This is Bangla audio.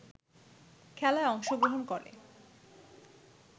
খেলায় অংশগ্রহণ করে